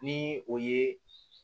Ni o ye